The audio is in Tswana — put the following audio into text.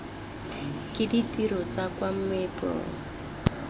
ke ditiro tsa kwa meepong